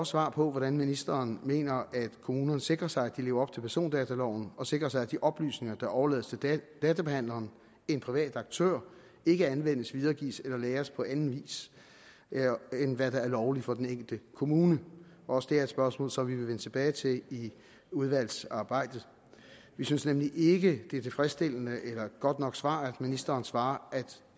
svar på hvordan ministeren mener at kommunerne sikrer sig at de lever op til persondataloven og sikrer sig at de oplysninger der overlades til databehandleren en privat aktør ikke anvendes videregives eller lagres på anden vis end der der er lovligt for den enkelte kommune også det er et spørgsmål som vi vil vende tilbage til i udvalgsarbejdet vi synes nemlig ikke at det er et tilfredsstillende eller godt nok svar at ministeren svarer